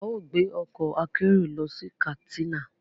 A máa gbé ọkọ̀ akérò lọ sí Katsina